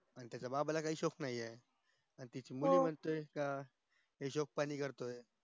तशे आम्हला काही shock नाहीये पण तिची mummy म्हणते का हिशोब पाणी करतो